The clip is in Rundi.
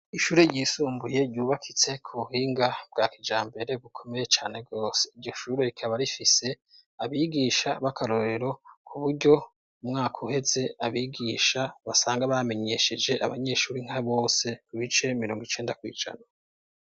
Ishure ryisumbuye ryubakitse ku buhinga bwa kijambere bukomeye cane gose ,iryo shure rikaba rifise abigisha b'akarorero ku buryo umwaka uheze abigisha basanga bamenyesheje abanyeshuri nka bose ibice mirongo icenda kw'ijana .